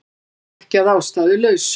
Það er vissulega ekki að ástæðulausu